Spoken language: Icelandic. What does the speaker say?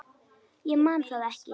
Ég man það ekki.